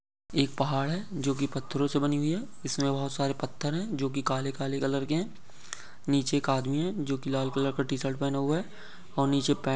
एक पहाड़ है जो की पत्थरोंसे बनी हुई है इसमे बहुत सारे पत्थर है जो की काले काले कलर के है नीचे एक आदमी है जो की लाल कलर का टीशर्ट पहना हुआ है और नीचे--